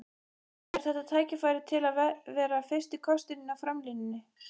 Er þetta tækifæri til að vera fyrsti kosturinn í framlínunni?